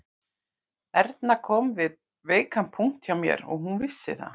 Erna kom við veikan punkt hjá mér og hún vissi það